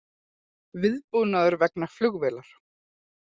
Viðbúnaður vegna flugvélar